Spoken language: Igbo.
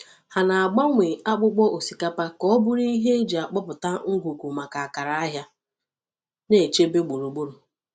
Ha na-agbanwe akpụkpọ osikapa ka ọ bụrụ ihe eji akpọpụta ngwugwu maka akara ahịa na-echebe gburugburu.